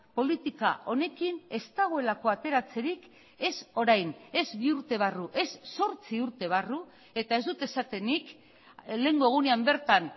politika honekin ez dagoelako ateratzerik ez orain ez bi urte barru ez zortzi urte barru eta ez dut esaten nik lehengo egunean bertan